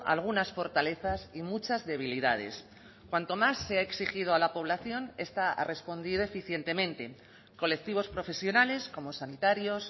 algunas fortalezas y muchas debilidades cuanto más se ha exigido a la población esta ha respondido eficientemente colectivos profesionales como sanitarios